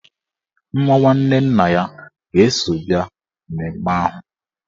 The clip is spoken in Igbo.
Nwa nwanne nna ya ga-eso bịa mmemme ahụ.